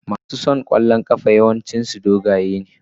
Mason wasan kwallon kafa yawanci dogaye ne.